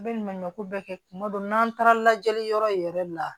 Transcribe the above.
A bɛ ɲumanɲɔ ko bɛɛ kɛ kuma dɔ n'an taara lajɛli yɔrɔ yɛrɛ la